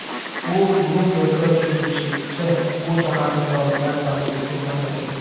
U Bloomberg‘ga tushuntirishicha, bu shaharni soliqlar pastligi uchun tanlagan.